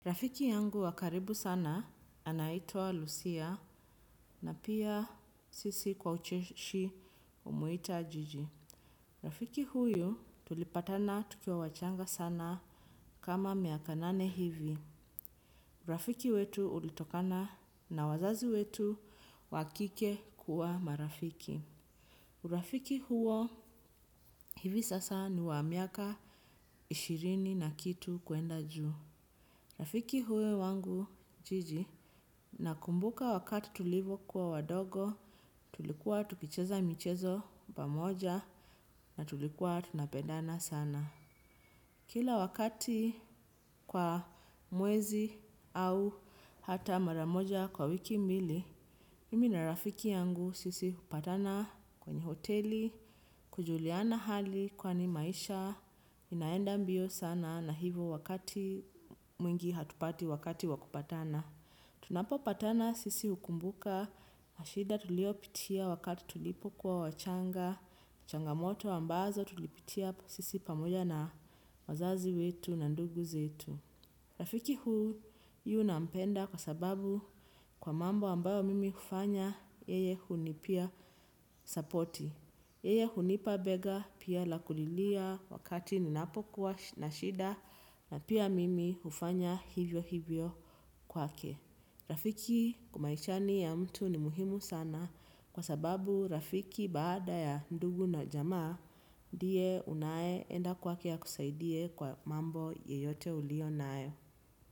Rafiki yangu wakaribu sana anaitwa Lucia na pia sisi kwa ucheshi umuita Jiji. Rafiki huyu tulipatana tukiwa wachanga sana kama miaka nane hivi. Rafiki wetu ulitokana na wazazi wetu wakike kuwa marafiki. Rafiki huo hivi sasa ni wamiaka ishirini na kitu kuenda juu. Rafiki huyo wangu, Jiji, na kumbuka wakati tulivo kuwa wadogo, tulikuwa tukicheza michezo pamoja na tulikuwa tunapedana sana. Kila wakati kwa mwezi au hata maramoja kwa wiki mbili, mimi na rafiki yangu sisi upatana kwenye hoteli, kujuliana hali kwani maisha, inaenda mbio sana na hivo wakati mwingi hatupati wakati wakupatana. Tunapo patana sisi ukumbuka na shida tulio pitia wakati tulipo kuwa wachanga, changamoto ambazo tulipitia sisi pamoja na wazazi wetu na ndugu zetu. Rafiki huu yu nampenda kwa sababu kwa mambo ambayo mimi ufanya, yeye hu ni pia sapoti. Yeye hu nipa bega pia lakulilia wakati ninapo kuwa na shida na pia mimi ufanya hivyo hivyo kwa ke. Rafiki kwa maishani ya mtu ni muhimu sana kwa sababu rafiki baada ya ndugu na jamaa ndiye unaye enda kwa ke akusaidie kwa mambo yeyote uliyonayo.